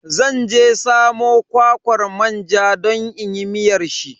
Zan je samo kwakwar manja don inyi miyar shi.